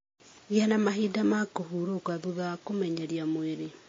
Gĩa na mahinda ma kũhurũka thutha wa kũmenyeria mwĩrĩ